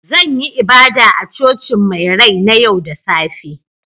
Zan yi ibada a Cocin mai rai na yau da safe